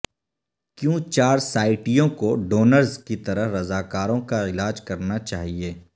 کیوں چارسائٹیوں کو ڈونرز کی طرح رضاکاروں کا علاج کرنا چاہئے